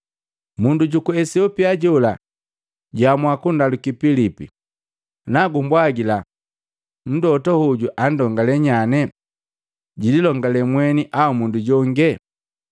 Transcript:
Mundu juku Esiopia jola jwaamua kundaluki Pilipi, “Nagumbwagila, mlota hoju anndongale nyane? Jililongale mweni au mundu jonge?”